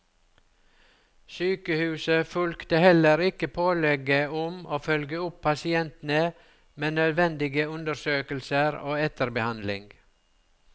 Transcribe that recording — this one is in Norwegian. Sykehuset fulgte heller ikke pålegget om å følge opp pasientene med nødvendige undersøkelser og etterbehandling.